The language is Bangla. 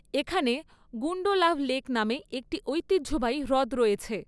এখানে গুন্ডোলাভ লেক নামে একটি ঐতিহ্যবাহী হ্রদ রয়েছে।